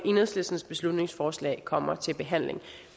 enhedslistens beslutningsforslag kommer til behandling